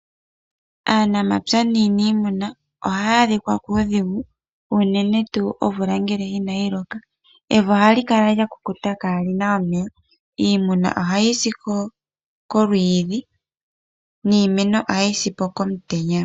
Aanamapya naaniimuna ohaya adhikwa kuudhigu unene tuu omvula ngele inayiloka, evi ohali kala lya kukuta kaalina omeya. Iimuna ohayi si kolwiidhi niimeno ohayi si pokomutenya.